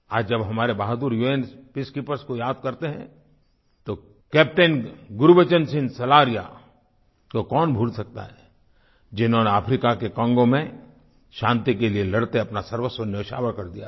आज जब हमारे बहादुर उन पीसकीपर्स को याद करते हैं तो कैप्टन गुरबचन सिंह सलारिया को कौन भूल सकता है जिन्होंने अफ्रीका के कैंगो में शांति के लिए लड़ते अपना सर्वस्व न्योछावर कर दिया था